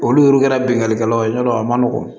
Olu kɛra binganikɛlaw ye ɲɔngɔn